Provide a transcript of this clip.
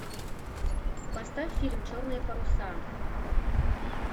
поставь фильм черные паруса